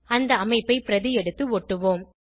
இந்த அமைப்பை பிரதி எடுத்து ஒட்டுவோம்